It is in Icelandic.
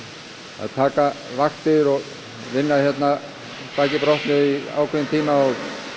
að taka vaktir og vinna hérna baki brotnu í ákveðinn tíma og